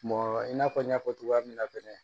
i n'a fɔ n y'a fɔ cogoya min na fɛnɛ